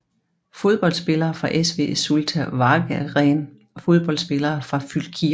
Fodboldspillere fra SV Zulte Waregem Fodboldspillere fra Fylkir